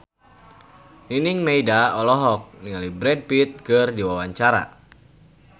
Nining Meida olohok ningali Brad Pitt keur diwawancara